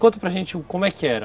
Conta para gente como é que era.